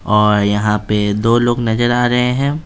और यहां पे दो लोग नजर आ रहे हैं।